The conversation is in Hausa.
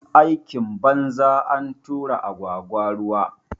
Aikin banza, antura agwagwa ruwa